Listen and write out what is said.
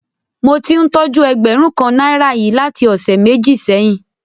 Mo ti ń tójú ẹgbẹ̀rún kan náírà yìí láti ọ̀sẹ̀ méjì sẹ́yìn.